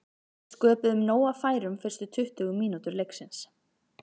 Við sköpuðum nóg af færum fyrstu tuttugu mínútur leiksins.